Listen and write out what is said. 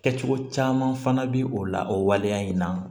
Kɛcogo caman fana bɛ o la o waleya in na